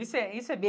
Isso é isso é